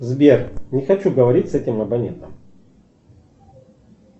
сбер не хочу говорить с этим абонентом